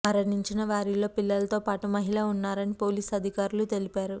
మరణించిన వారిలో పిల్లలతో పాటు మహిళ ఉన్నారని పోలీసు అధికారులు తెలిపారు